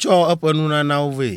tsɔ eƒe nunanawo vɛ.